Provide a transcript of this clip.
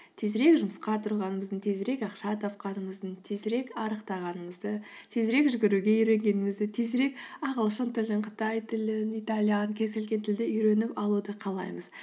тезірек жұмысқа тұрғанымыздың тезірек ақша тапқанымыздың тезірек арықтағанымызды тезірек жүгіруге үйренгенімізді тезірек ағылшын тілін қытай тілін италиан кез келген тілді үйреніп алуды қалаймыз